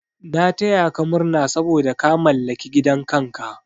Na taya ka murna saboda ka mallaki gidan kanka.